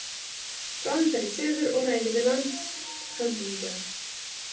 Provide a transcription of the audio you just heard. Bráðum fer ég suður og ræði við landshöfðingjann.